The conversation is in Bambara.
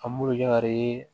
An b'olu jari